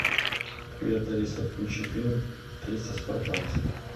привет алиса включи фильм триста спартанцев